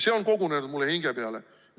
See on kogunenud mulle hinge peale.